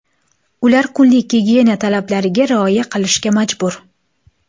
Ular kunlik gigiyena talablariga rioya qilishga majbur.